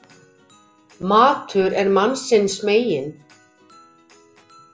Matur er mannsins megin.